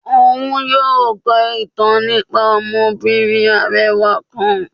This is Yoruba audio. Òún yóò kọ ìtàn nípá ọmọbìnrín arẹwà kán.